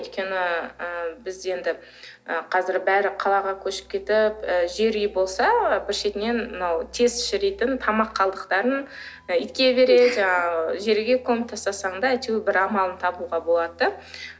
өйткені і біз енді ы қазір бәрі қалаға көшіп кетіп ы жер үй болса бір шетінен мынау тез шіритін тамақ қалдықтарын итке береді жаңағы жерге көміп тастасаң да әйтеуір бір амалын табуға болады да